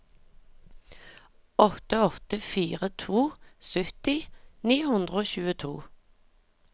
åtte åtte fire to sytti ni hundre og tjueto